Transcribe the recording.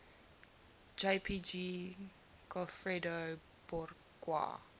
jpg goffredo borgia